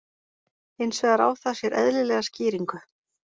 Hins vegar á það sér eðlilega skýringu.